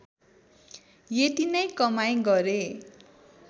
यति नै कमाइ गरे